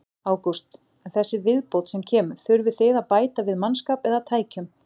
Ágúst: En þessi viðbót sem kemur, þurfið þið að bæta við mannskap eða tækjum?